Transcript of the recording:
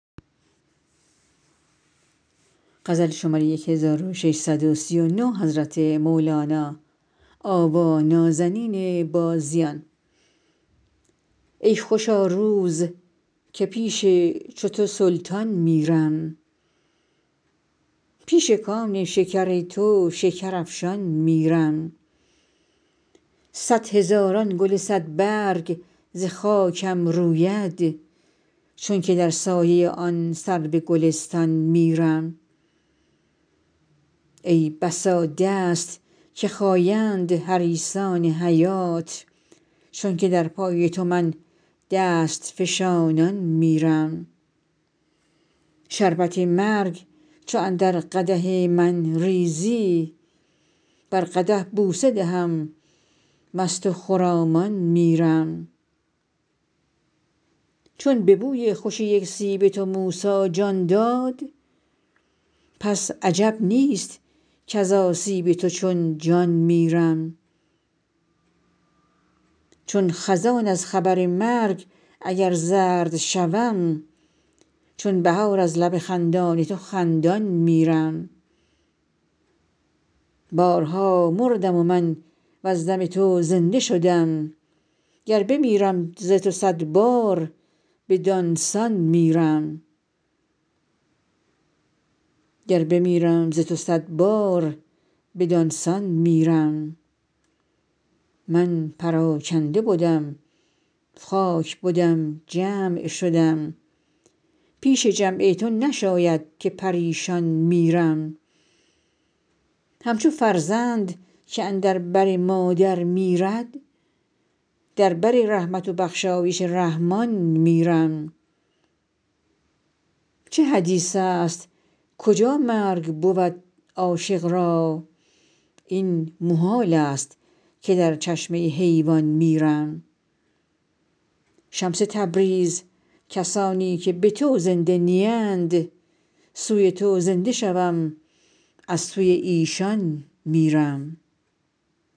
ای خوشا روز که پیش چو تو سلطان میرم پیش کان شکر تو شکرافشان میرم صد هزاران گل صدبرگ ز خاکم روید چونک در سایه آن سرو گلستان میرم ای بسا دست که خایند حریصان حیات چونک در پای تو من دست فشانان میرم شربت مرگ چو اندر قدح من ریزی بر قدح بوسه دهم مست و خرامان میرم چون به بوی خوش یک سیب تو موسی جان داد پس عجب نیست کز آسیب تو چون جان میرم چون خزان از خبر مرگ اگر زرد شوم چون بهار از لب خندان تو خندان میرم بارها مردم من وز دم تو زنده شدم گر بمیرم ز تو صد بار بدان سان میرم من پراکنده بدم خاک بدم جمع شدم پیش جمع تو نشاید که پریشان میرم همچو فرزند که اندر بر مادر میرد در بر رحمت و بخشایش رحمان میرم چه حدیث است کجا مرگ بود عاشق را این محالست که در چشمه حیوان میرم شمس تبریز کسانی که به تو زنده نیند سوی تو زنده شوم از سوی ایشان میرم